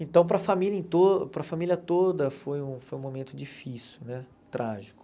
Então, para a família em to para a família toda, foi um foi um momento difícil né, trágico.